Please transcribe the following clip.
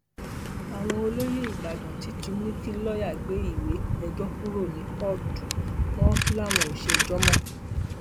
àwọn olóyè ìbàdàn ti tún ní kí lọọyà gbé ìwé ẹjọ kúrò ní kóòtù wọn làwọn ò ṣèjọ mọ